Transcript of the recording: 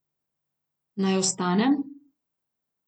Naj ostanem?